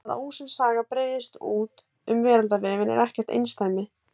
það að ósönn saga breiðist út um veraldarvefinn er ekkert einsdæmi